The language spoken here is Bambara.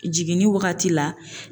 Jiginni wagati la.